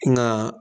Nka